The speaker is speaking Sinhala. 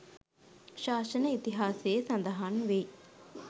ශාසන ඉතිහාසයේ සඳහන් වෙයි